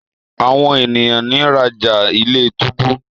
àwọn ènìyàn nira já ilé-túbú.